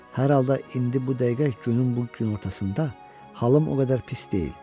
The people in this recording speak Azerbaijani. Hər halda indi bu dəqiqə günün bu günortasında halım o qədər pis deyil.